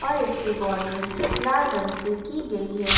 फर्श की बॉर्डरिंग लाल रंग से की गई है।